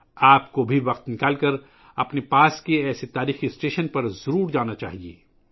آپ کو اپنے قریب کے ایسے تاریخی اسٹیشن پر جانے کے لئے بھی وقت نکالنا چاہیئے